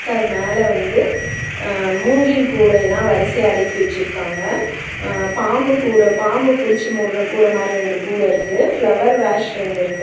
த மேல வந்து அ மூங்கில் கூடயிலா வரிசையா அடுக்கி வெச்சிருக்காங்க அ பாம்பு கூட பாம்பு புடிச்சி மூட்ற கூட மாரி ரெண்டு கூட இருக்கு ஃப்ளவர் வாஸ் ரெண்டு இருக்கு.